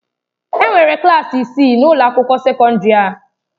Enwere klaasị isii na ụlọ akwụkwọ sekọndrị ndị a.